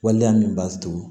Waleya min b'a to